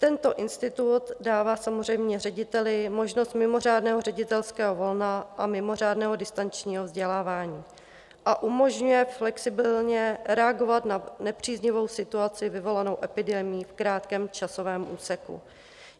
Tento institut dává samozřejmě řediteli možnost mimořádného ředitelského volna a mimořádného distančního vzdělávání a umožňuje flexibilně reagovat na nepříznivou situaci vyvolanou epidemií v krátkém časovém úseku.